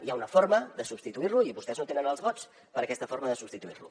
hi ha una forma de substituir lo i vostès no tenen els vots per a aquesta forma de substituir lo